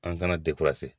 An kana